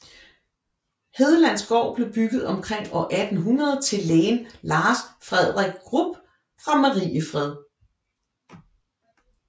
Hedlanda gård blev bygget omkring år 1800 til lægen Lars Fredrik Grubb fra Mariefred